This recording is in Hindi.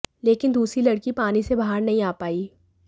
लेकिन दूसरी लड़की पानी से बाहर नहीं आ पाई